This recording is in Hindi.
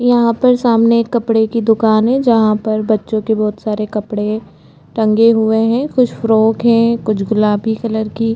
यहाँ पर सामने एक कपडे कि दुकान है जहाँ पर बच्चों के बहुत सारे कपडे टंगे हुए है कुछ फ्रॉक है कुछ गुलाबी कलर कि --